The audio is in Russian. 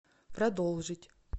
продолжить